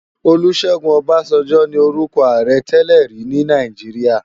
Olusegun Obasanjo ni órùkò àárè tèlèri ni Náijiriá